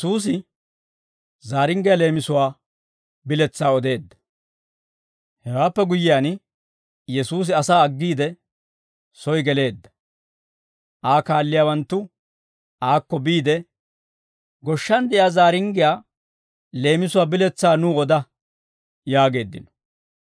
Hewaappe guyyiyaan, Yesuusi asaa aggiide, soy geleedda; Aa kaalliyaawanttu aakko biide, «Goshshan de'iyaa zaaringgiyaa leemisuwaa biletsaa nuw oda» yaageeddino.